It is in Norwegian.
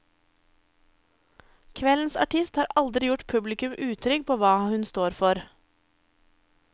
Kveldens artist har aldri gjort publikum utrygg på hva hun står for.